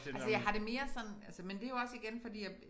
Altså jeg har det mere sådan altså men det jo også igen fordi jeg